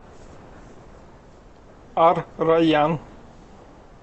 ар райян